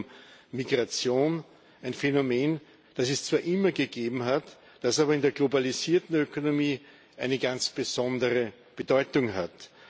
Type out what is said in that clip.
Es geht um Migration ein Phänomen, das es zwar immer gegeben hat, das aber in der globalisierten Ökonomie eine ganz besondere Bedeutung hat.